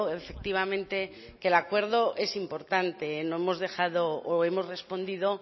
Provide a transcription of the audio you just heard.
efectivamente que el acuerdo es importante lo hemos dejado o hemos respondido